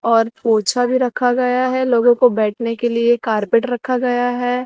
और पोछा भी रखा गया हैं लोगों को बैठने के लिए कार्पेट रखा गया है।